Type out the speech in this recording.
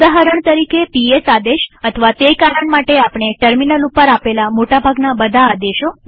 ઉદાહરણ તરીકે પીએસ આદેશ અથવા તે કારણ માટે આપણે ટર્મિનલ ઉપર આપેલ મોટા ભાગના બધા આદેશો